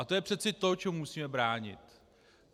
A to je přece to, čemu musíme bránit.